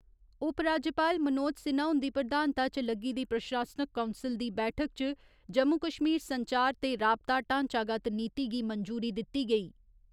उपराज्यपाल मनोज सिन्हा हुंदी प्रधानता च लग्गी दी प्रशासनिक कोंसल दी बैठक च जम्मू कश्मीर संचार ते राबता ढांचागत नीति गी मंजूरी दित्ती गेई।